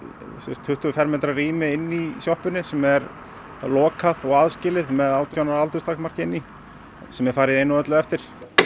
tuttugu fermetra rými inni í sjoppunni sem er lokað og aðskilið með átján ára aldurstakmarki sem er farið í einu og öllu eftir